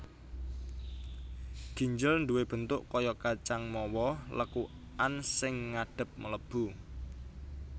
Ginjel duwé bentuk kaya kacang mawa lekukan sing ngadhep mlebu